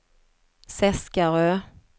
Seskarö